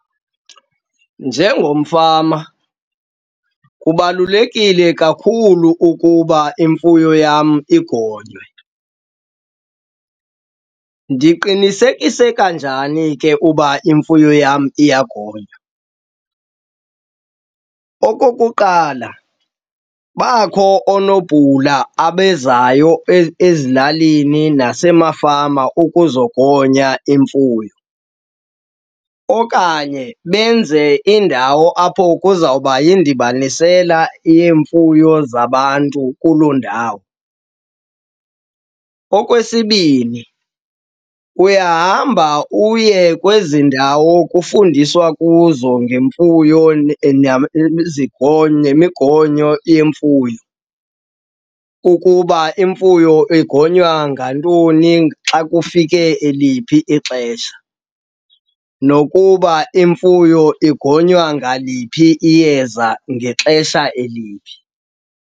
Njengomfama kubalulekile kakhulu ukuba imfuyo yam igonywe. Ndiqinisekisa kanjani ke uba imfuyo yam iyagonywa? Okokuqala bakho onobhula abezayo ezilalini nasemafama ukuzogonya imfuyo okanye benze indawo apho kuzawuba yindibanisela yeemfuyo zabantu kuloo ndawo. Okwesibini, uyahamba uye kwezi ndawo kufundiswa kuzo ngemfuyo nemigonyo yemfuyo ukuba imfuyo igonywa ngantoni xa kufike eliphi ixesha, nokuba imfuyo igonywa ngaliphi iyeza ngexesha eliphi.